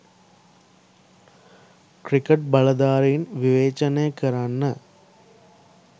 cricket බලධාරීන් විවේචනය කරන්න